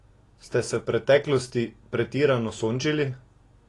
Ste se v preteklosti pretirano sončili?